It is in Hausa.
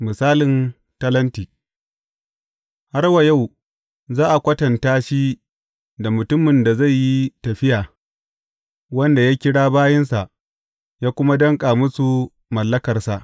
Misalin talenti Har wa yau, za a kwatanta shi da mutumin da zai yi tafiya, wanda ya kira bayinsa ya kuma danƙa musu mallakarsa.